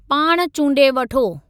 पाण चूंडे वठो।